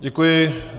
Děkuji.